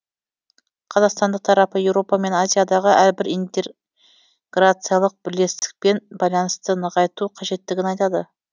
қазақстандық тарапы еуропа мен азиядағы әрбір инте грациялық бірлестікпен байланысты нығайту қажеттігін айтады